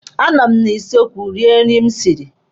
A nụ m na kichin rie nri m siri.